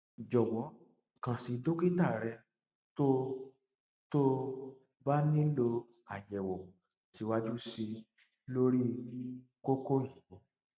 jọwọ kàn sí dókítà rẹ tó tó o bá nílò àyẹwò síwájú sí i lórí kókó yìí